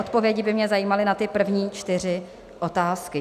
Odpovědi by mě zajímaly na ty první čtyři otázky.